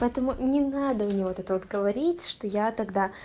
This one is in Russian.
поэтому не надо мне вот это вот говорить что я тогда